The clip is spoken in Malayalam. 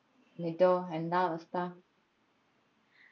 ന്നിട്ടോ എന്താ അവസ്ഥ